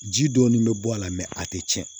Ji dɔɔnin bɛ bɔ a la a tɛ tiɲɛ